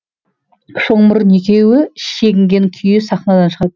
шоңмұрын екеуі шегінген күйі сахнадан шығады